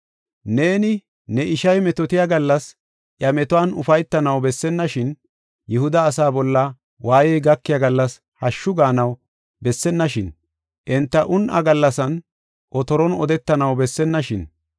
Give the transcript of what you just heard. Neeni ne ishay metootiya gallas iya metuwan ufaytanaw bessennashin; Yihuda asaa bolla waayey gakiya gallas hashshu gaanaw bessennashin. Enta un7a gallasan otoron odetanaw bessennashin!